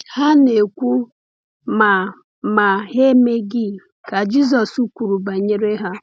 “Ha na-ekwu, ma ma ha emeghị,” ka Jisọs kwuru banyere ha.